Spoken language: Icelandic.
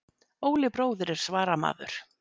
Óli bróðir er svaramaður.